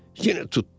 yenə tutdu.